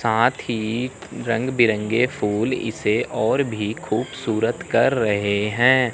साथ ही रंग बिरंगे फूल इसे और भी खूबसूरत कर रहे हैं।